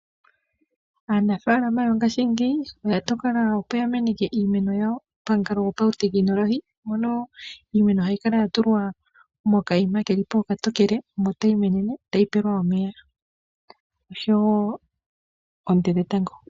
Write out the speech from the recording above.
Aanafaalama yongaashingeyi oya tokola, opo ya meneke iimeno yawo pamukalo gopautekinolohi, mono iimeno hayi kala ya tulwa mokayima keli po okatokele, omo tayi menene, tayi pewa omeya oshowo oonte dhetango.